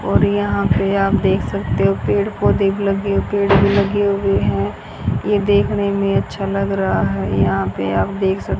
और यहां पे आप देख सकते हो पेड़ पौधे भी लगे और पेड़ भी लगे हुए हैं ये देखने में अच्छा लग रहा है यहां पे आप देख सक --